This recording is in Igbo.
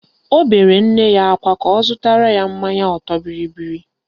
Ọ bere nne ya akwa ka ọ zụtara ya mmanya ọtọbịrịbịrị